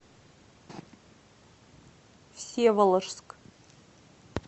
всеволожск